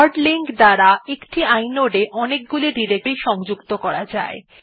hard link এর দ্বারা একটি inode এ অনেকগুলি ডিরেকটরি সংযুক্ত করা যায়